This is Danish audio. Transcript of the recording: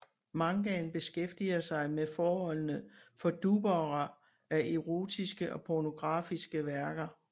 Mangaen beskæftiger sig med forholdene for dubbere af erotiske og pornografiske værker